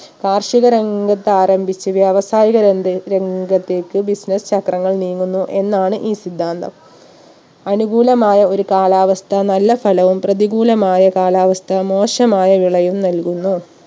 കാർഷിക രംഗത്താരംഭിച്ച് വ്യാവസായിക രംഗ് രംഗത്തേക്ക് business ചക്രങ്ങൾ നീങ്ങുന്നു എന്നാണ് ഈ സിദ്ധാന്തം അനുകൂലമായ ഒരു കാലാവസ്ഥ നല്ല ഫലവും പ്രതികൂലമായ കാലാവസ്ഥ മോശമായ വിളയും നൽകുന്നു